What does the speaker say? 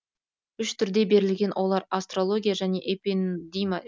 үш түрде берілген олар астрология және эпендима